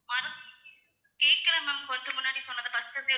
மறு~ கேக்கல ma'am கொஞ்சம் முன்னாடி சொன்னதை first ல இருந்தே